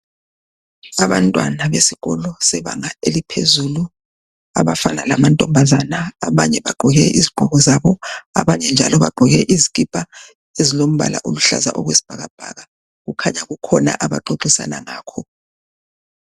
Abantwana besikolo sebanga eliphezulu abafana lamantombazana. Abanye bagqoke izigqoko zabo abanye bagqoke izikhipha ezilombala oluhlaza okwesibhakabhaka. Kukhanya kukhona abaxoxisana ngakho.